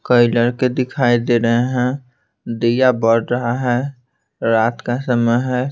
कई लड़के दिखाई दे रहे हैं दिया बढ़ रहा है रात का समय है।